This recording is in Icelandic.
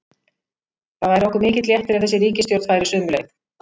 Það væri okkur mikill léttir ef þessi ríkisstjórn færi sömu leið.